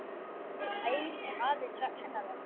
aðeins hennar vegna.